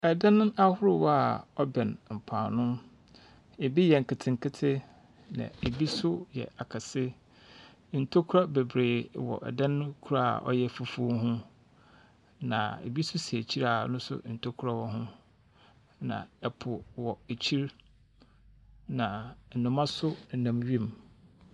Adan ahorow a wɔbɛn mpo ano. Ebi yɛ nketsenketse, na ebi nso yɛ akɛse. Ntokuwa bebree wɔ dan no kor a ɔyɛ fufuw ho, na ebi nso si ekyir a ɔno nso ntokuwa wɔ ho. Na po wɔ ekyir, na nnomba nso nam wim.